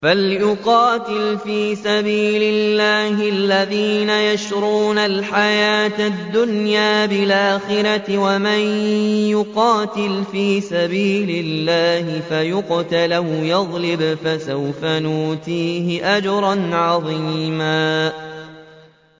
۞ فَلْيُقَاتِلْ فِي سَبِيلِ اللَّهِ الَّذِينَ يَشْرُونَ الْحَيَاةَ الدُّنْيَا بِالْآخِرَةِ ۚ وَمَن يُقَاتِلْ فِي سَبِيلِ اللَّهِ فَيُقْتَلْ أَوْ يَغْلِبْ فَسَوْفَ نُؤْتِيهِ أَجْرًا عَظِيمًا